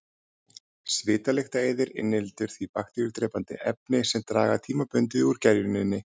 Svitalyktareyðir inniheldur því bakteríudrepandi efni sem draga tímabundið úr gerjuninni.